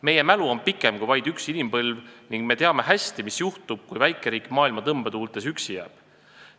Meie mälu on pikem kui vaid üks inimpõlv ning me teame hästi, mis juhtub, kui väikeriik maailma tõmbetuultes üksi jääb.